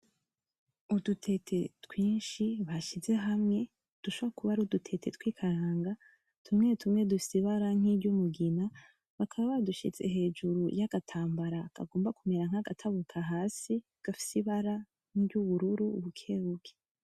Udutete twinshi bashize hamwe dushobora kuba ari udutete tw'ikaranga, tumwe tumwe dufise ibara nkiry'umugina bakaba badushize hejuru y'agatambara kagomba kumera nkagatabuka hasi gafise ibara nkiry'ubururu bukebuke.